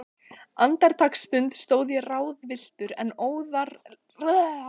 Andartaksstund stóð ég ráðvilltur, en óðara leituðu hendur